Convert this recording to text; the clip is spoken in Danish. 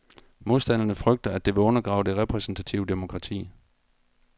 Modstanderne frygter, at det vil undergrave det repræsentative demokrati.